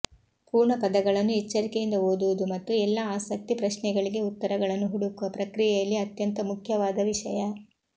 ಪೂರ್ಣ ಪದಗಳನ್ನು ಎಚ್ಚರಿಕೆಯಿಂದ ಓದುವುದು ಮತ್ತು ಎಲ್ಲಾ ಆಸಕ್ತಿ ಪ್ರಶ್ನೆಗಳಿಗೆ ಉತ್ತರಗಳನ್ನು ಹುಡುಕುವ ಪ್ರಕ್ರಿಯೆಯಲ್ಲಿ ಅತ್ಯಂತ ಮುಖ್ಯವಾದ ವಿಷಯ